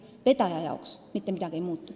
Vedaja jaoks mitte midagi ei muutu.